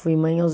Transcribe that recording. Fui mãe aos